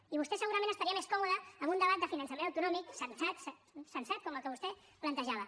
i vostè segurament estaria més còmode amb un debat de finançament autonòmic sensat com el que vostè plantejava